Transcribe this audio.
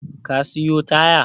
Ka siyo taya?